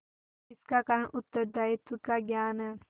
इसका कारण उत्तरदायित्व का ज्ञान है